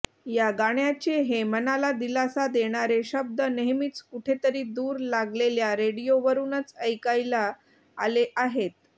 या गाण्याचे हे मनाला दिलासा देणारे शब्द नेहमीच कुठेतरी दूर लागलेल्या रेडिओवरूनच ऐकायला आले आहेत